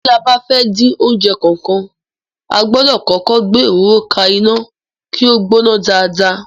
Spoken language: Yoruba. Tí a bá fẹ́ dín oúnjẹ kankan, a gbọ́dọ̀ kọ́kọ́ gbé òróró ka iná kí ó gbóná dáadáa.